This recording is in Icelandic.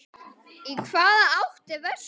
Í hvaða átt er vestur?